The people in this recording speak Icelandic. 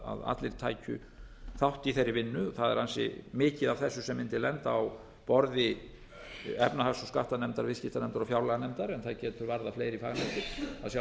allir tækju þátt í þeirri vinnu það er ansi mikið af þessu sem mundi lenda á borði efnahags og skattanefndar og viðskipta og fjárlaganefndar en það getur